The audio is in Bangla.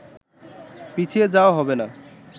পিছিয়ে যাওয়া হবে না